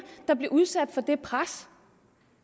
der bliver udsat for det pres